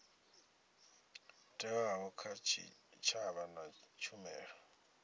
thewaho kha tshitshavha na tshumelo